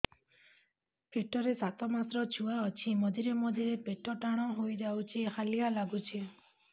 ପେଟ ରେ ସାତମାସର ଛୁଆ ଅଛି ମଝିରେ ମଝିରେ ପେଟ ଟାଣ ହେଇଯାଉଚି ହାଲିଆ ଲାଗୁଚି